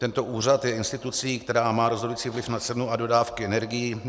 Tento úřad je institucí, která má rozhodující vliv na cenu a dodávky energií.